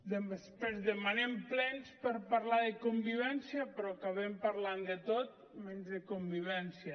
després demanem plens per parlar de convivència però acabem parlant de tot menys de convivència